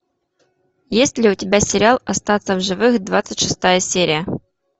есть ли у тебя сериал остаться в живых двадцать шестая серия